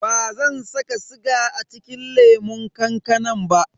Bazan saka siga a cikin lemun kankanan ba.